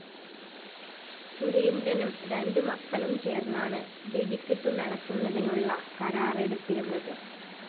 സുരേന്ദ്രനും രണ്ടു മക്കളും ചേര്‍ന്നാണ് വെടിക്കെട്ടു നടത്തുന്നതിനുള്ള കരാറെടുത്തിരുന്നത്